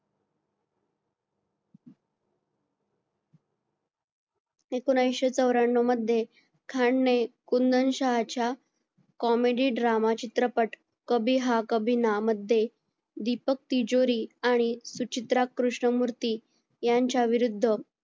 एकोणविशे चौऱ्यांनाव मध्ये खान ने कुंदन शहाच्या comedy drama चित्रपट कभी हा कभी ना मध्ये दीपक तिजोरी आणि सुचित्रा कृष्णमूर्ती यांच्या विरुद्ध